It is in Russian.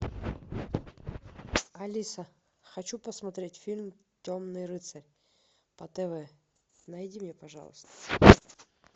алиса хочу посмотреть фильм темный рыцарь по тв найди мне пожалуйста